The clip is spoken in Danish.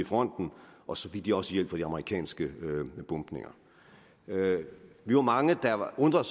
fronten og så fik de også hjælp fra de amerikanske bombninger vi var mange der undrede